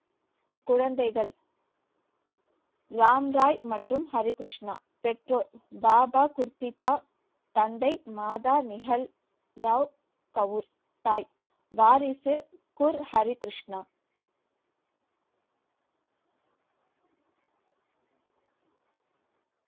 குழந்தைகள் ராம் ராய் மற்றும் ஹரி கிருஷ்ணா பெற்றோர் பாபா குர்த்திதா தந்தை மாதா நிகல் ராவ் கவுர் தாய் வாரிசு குர் ஹரி கிருஷ்ணா